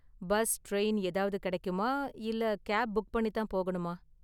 Bus, train ஏதாவது கிடைக்குமா இல்ல கேப் புக் பண்ணி தான் போகணுமா?